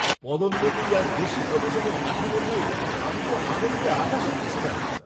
পদোন্নতি আর বেশি কমিশনের কাঠামো পেয়ে আমি তো আনন্দে আকাশে উড়ছিলাম।